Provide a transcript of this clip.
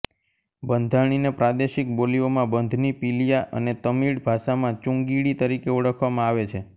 બંધાણીને પ્રાદેશિક બોલીઓમાં બંધની પિલિયા અને તમિળ ભાષામાં ચુંગિડી તરીકે ઓળખવામાં આવે છે